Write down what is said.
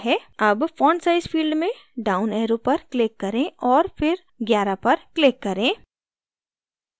अब font size field में down arrow पर click करें और फिर 11 पर click करें